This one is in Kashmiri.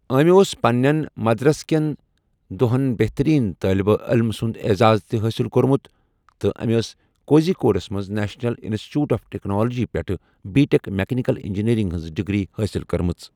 أمہِ اوس پنٛنیٚن مدرَسہ کیٚن دۄہَن بہتٔریٖن طٲلبہِ عٔلمہٕ سُنٛد اعزاز تہِ حٲصِل کوٚرمُت تہٕ أمہِ ٲس کوزی کوڈس منٛز national institute of technology پیٚٹھٕ بی ٹیٚک میٚکینِکَل اِنٛجیٖریٚرِنٛگ ہِنٛز ڈگری حٲصِل کٔرمٕژ۔